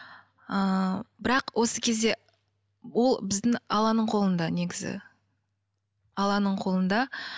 ыыы бірақ осы кезде біздің алланың қолында негізі алланың қолында